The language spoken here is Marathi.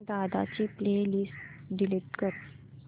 दादा ची प्ले लिस्ट डिलीट कर